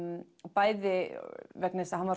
bæði vegna þess að hann var